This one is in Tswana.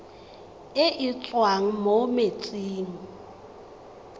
e e tswang mo metsing